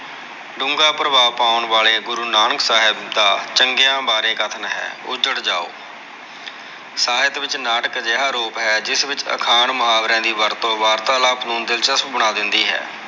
ਡੂੰਗਾ ਪ੍ਰਭਾਵ ਪਾਉਣ ਵਾਲੇ ਗੁਰੂ ਨਾਨਕ ਸਾਹਿਬ ਦਾ ਚੰਗਿਆ ਬਾਰੇ ਕਥਨ ਹੈ । ਉਜੜ ਜਾਓ। ਸਾਹਿਤ ਵਿੱਚ ਨਾਟਕ ਅਜਿਹਾ ਰੂਪ ਹੈ। ਜਿਸ ਵਿੱਚ ਅਖਾਣ ਮੁਹਾਵਰਿਆ ਦੀ ਵਰਤੋਂ ਵਾਰਤਾਲਾਪ ਨੂੰ ਦਿਲਚਸਪ ਬਣਾ ਦਿੰਦੀ ਹੈ।